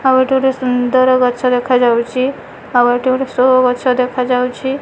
ଆଉ ଏଠି ଗୋଟେ ସୁନ୍ଦର୍ ଗଛ ଦେଖାଯାଉଛି ଆଉ ଏଠି ଗୋଟେ ସୋ ଗଛ ଦେଖାଯାଉଛି।